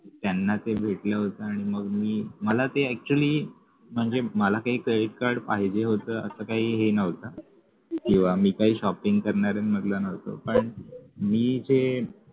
त्यांना ते भेटलं होत आणि मग मी मला ते actually म्हणजे मला काय credit card पाहिजे होत असं काही हे नव्हतं किंवा मी काही shopping करणाऱ्यांमधला नव्हतो पण मी जे